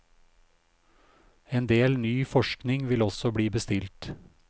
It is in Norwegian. En del ny forskning vil også bli bestilt.